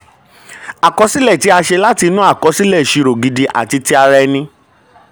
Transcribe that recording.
àkọsílẹ̀ tí a ṣe láti inú àkọsílẹ̀-ìṣirò gidi inú àkọsílẹ̀-ìṣirò gidi àti ti ara ẹni.